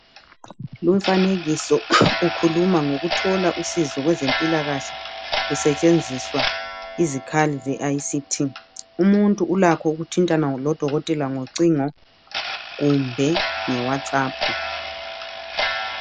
Lumfanekiso ukhuluma ngokuthola usizo kwezempilakahle kusetshenziswa izikhali ze ict, umuntu ulakho ukuthintana lodokotela ngocingo kumbe nge whatsapp.